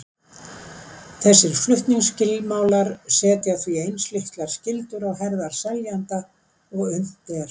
Þessir flutningsskilmálar setja því eins litlar skyldur á herðar seljanda og unnt er.